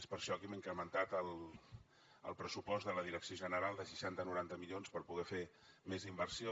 és per això que hem incrementat el pressupost de la direcció general de seixanta a noranta milions per poder fer més inversió